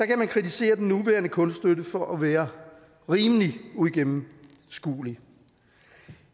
kan man kritisere den nuværende kunststøtte for at være rimelig uigennemskuelig